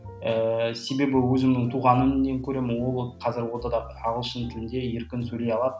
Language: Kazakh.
ііі себебі өзімнің туған інімнен көремін ол қазір ортада ағылшын тілінде еркін сөйлей алады